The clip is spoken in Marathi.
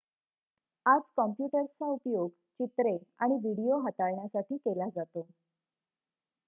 आज कॉम्प्युटर्सचा उपयोग चित्रे आणि व्हिडिओ हाताळण्यासाठी केला जातो